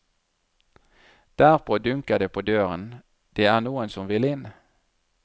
Derpå dunker det på døren, det er noen som vil inn.